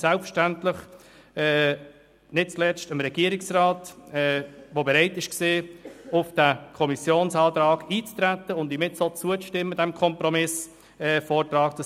Selbstverständlich nicht zuletzt auch dem Regierungsrat, der bereit war, auf diesen Kommissionsantrag einzutreten und diesem Kompromissvortrag jetzt auch zuzustimmen.